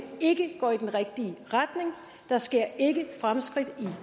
ikke går i den rigtige retning der sker ikke fremskridt i